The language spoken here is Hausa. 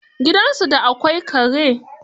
Gidansu da akwai kare?